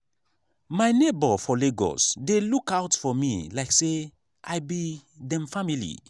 my neighbor for lagos dey look out for me like say i be dem family.